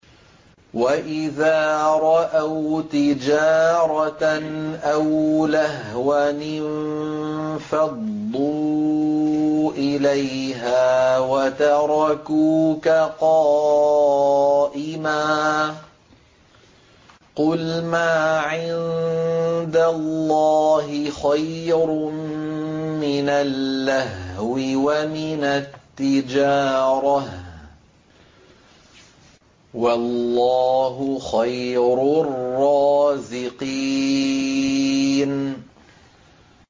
وَإِذَا رَأَوْا تِجَارَةً أَوْ لَهْوًا انفَضُّوا إِلَيْهَا وَتَرَكُوكَ قَائِمًا ۚ قُلْ مَا عِندَ اللَّهِ خَيْرٌ مِّنَ اللَّهْوِ وَمِنَ التِّجَارَةِ ۚ وَاللَّهُ خَيْرُ الرَّازِقِينَ